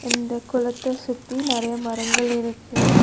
இந்த குளத்த சுத்தி நெறைய மரங்கள் இருக்கு.